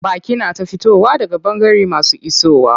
Baƙi na ta fitowa daga ɓangare masu isowa.